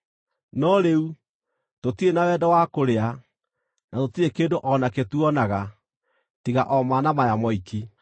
No rĩu, tũtirĩ na wendo wa kũrĩa; na tũtirĩ kĩndũ o nakĩ tuonaga, tiga o mana maya moiki!”